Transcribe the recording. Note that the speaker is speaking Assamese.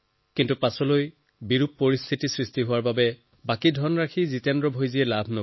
কিন্তু পিছত পৰিস্থিতি এনেকুৱা হয় যে তেওঁ বাকীখিনি ধন নাপালে